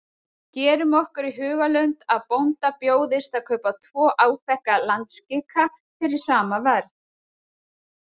Gerum okkur í hugarlund að bónda bjóðist að kaupa tvo áþekka landskika fyrir sama verð.